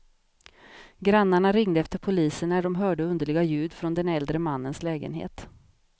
Grannarna ringde efter polisen när de hörde underliga ljud från den äldre mannens lägenhet.